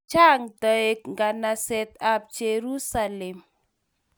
Chang toek nganaset ab Jersualem